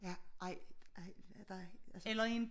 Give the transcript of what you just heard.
Ja ej ej altså